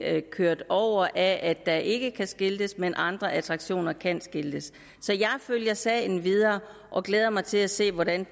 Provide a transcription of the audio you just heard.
kørt over af at der ikke kan skiltes mens andre attraktioner kan skiltes så jeg følger sagen videre og glæder mig til at se hvordan